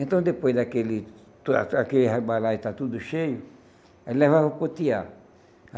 Então, depois daquele a aquele balaio estar tudo cheio, ele levava para o tear.